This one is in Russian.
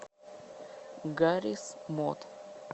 гаррис мод